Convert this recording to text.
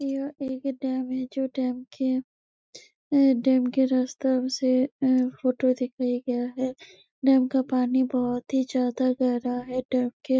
यह एक डैम है जो डैम के अ डैम के रास्ता से अ फोटो दिखाया गया है डैम का पानी बहोत ही ज्यादा गहरा है डैम के--